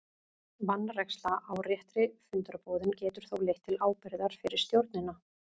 Vanræksla á réttri fundarboðun getur þó leitt til ábyrgðar fyrir stjórnina.